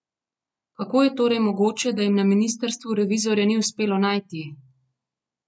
Kako je torej mogoče, da jim na ministrstvu revizorja ni uspelo najti?